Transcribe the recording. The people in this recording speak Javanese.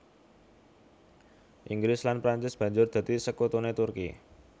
Inggris lan Prancis banjur dadi sekutuné Turki